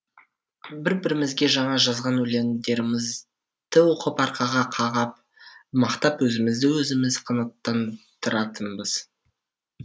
бір бірімізге жаңа жазған өлеңдерімізді оқып арқаға қағып мақтап өзімізді өзіміз қанаттандыратынбыз